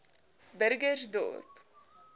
burgersdorp